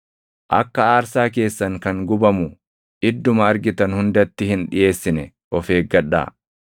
Akka aarsaa keessan kan gubamu idduma argitan hundatti hin dhiʼeessine of eeggadhaa.